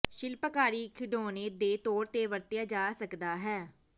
ਸ਼ਿਲਪਕਾਰੀ ਖਿਡੌਣੇ ਦੇ ਤੌਰ ਤੇ ਵਰਤਿਆ ਜਾ ਸਕਦਾ ਹੈ